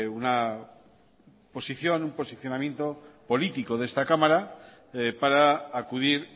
un posicionamiento político de esta cámara para acudir